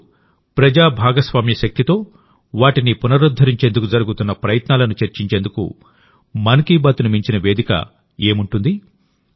ఇప్పుడు ప్రజా భాగస్వామ్య శక్తితో వాటిని పునరుద్ధరించేందుకు జరుగుతున్న ప్రయత్నాలను చర్చించేందుకు మన్ కీ బాత్కి మించిన వేదిక ఏముంటుంది